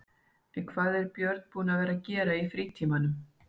En hvað er Björn búinn að vera að gera í frítímanum?